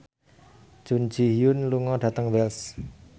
Jun Ji Hyun lunga dhateng Wells